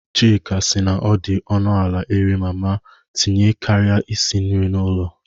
Chika sị na ọ dị ọnụ ala iri mama tinye karịa isi nri n'ụlọ.